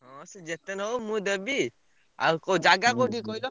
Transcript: ହଁ ସିଏ ଯେତେ ନଉ ମୁଁ ଦେବି ଆଉ କୋଉ ଜାଗା କୋଉଠି କହିଲ?